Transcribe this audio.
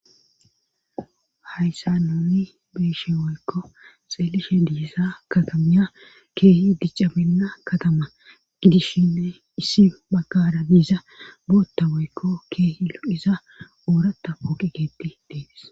Hayssa nuni beeshe woykko xeelishe diisa katamiya keehi diccaminna katama gidishshine issi baggara diiza bootta woykko keehi lo7iza oorata ooqigeetti deedis